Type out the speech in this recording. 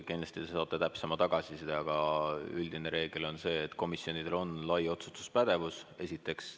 Kindlasti te saate täpsema tagasiside, aga üldine reegel on see, et komisjonidel on lai otsustuspädevus, esiteks.